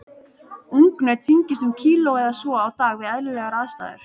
Ungnaut þyngist um kíló eða svo á dag við eðlilegar aðstæður.